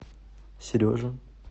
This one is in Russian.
сережа